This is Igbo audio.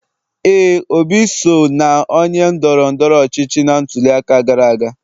éè, Obi so na onye ndoro-ndoro ochichi na ntuli aka gara aga.